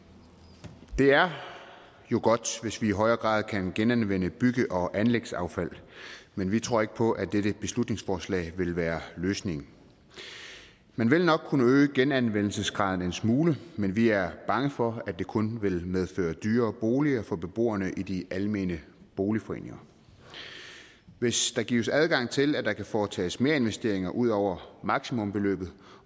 det er jo godt hvis man i højere grad kan genanvende bygge og anlægsaffald men vi tror ikke på at dette beslutningsforslag vil være løsningen man vil nok kunne øge genanvendelsesgraden en smule men vi er bange for at det kun vil medføre dyrere boliger for beboerne i de almene boligforeninger hvis der gives adgang til at der kan foretages merinvesteringer ud over maksimumbeløbet